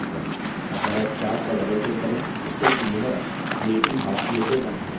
अतः chart पर doubleclick करें जिससे कि यह स्लेटी हाशिये से बंद हो जाय